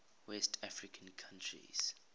west african countries